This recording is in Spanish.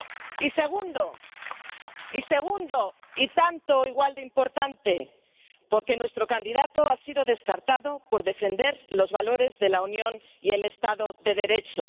Y segundo, y tanto o igual de importante, porque nuestro candidato ha sido descartado por defender los valores de la Unión y el Estado de Derecho.